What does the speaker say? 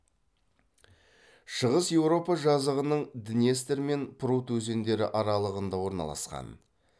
шығыс еуропа жазығының днестр мен прут өзендері аралығында орналасқан